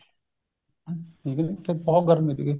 ਗਏ ਸੀਗੇ ਬਹੁਤ ਗਰਮੀ ਸੀਗੀ